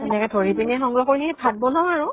সেনেকে ধৰি পিনে সংগ্ৰহ কৰি ভাত বনাও আৰু